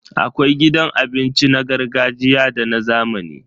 Akwai gidan abinci na gargajiya da na zamani.